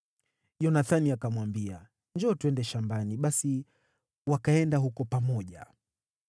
Yonathani akamwambia, “Njoo, twende shambani.” Basi wakaenda huko pamoja.